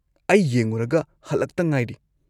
ꯑꯩ ꯌꯦꯡꯉꯨꯔꯒ ꯍꯜꯂꯛꯇ ꯉꯥꯏꯔꯤ꯫